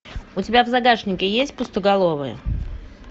у тебя в загашнике есть пустоголовые